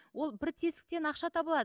ол бір тесіктен ақша таба алады